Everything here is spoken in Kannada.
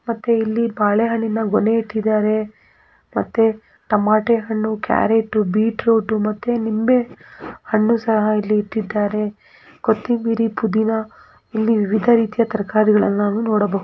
ಮತ್ತೆ ಇಲ್ಲಿ ಬಾಳೆ ಹಣ್ಣಿನ ಗೊನೆ ಇಟ್ಟಿದ್ದಾರೆ ಮತ್ತೆ ತಮಟೆ ಹಣ್ಣು ಕ್ಯಾರಟ್ ಬೀಟ್ರೂಟ್ ಮತ್ತೆ ನಿಂಬೆ ಹಣ್ಣು ಸಹ ಇಲ್ಲಿ ಇಕ್ಕಿದ್ದಾರೆ ಕೊತ್ತೆಂಬರಿ ಪುದಿನ ಇಲ್ಲಿ ವಿವಿಧ ರೀತಿಯ ತರಕಾರಿಗಳನ್ನ ನಾವು ನೋಡಬಹುದು .